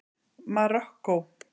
Marokkó